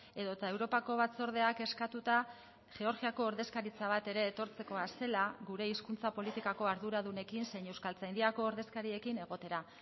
edota europako batzordeak eskatuta georgiako ordezkaritza bat ere etortzekoa zela gure hizkuntza politikako arduradunekin zein euskaltzaindiako ordezkariekin egotera